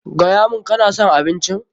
Gaya mun, ka na son abincin?